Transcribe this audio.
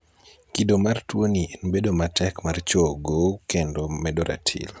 kido mar tuoni en bedo matek mar chogo kendo medo ratil